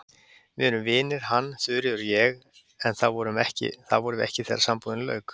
Við erum vinir, hann, Þuríður og ég, en það vorum við ekki þegar sambúðinni lauk.